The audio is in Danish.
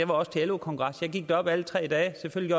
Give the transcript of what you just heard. var også til lo kongres jeg gik derop alle tre dage selvfølgelig